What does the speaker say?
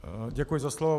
Děkuji za slovo.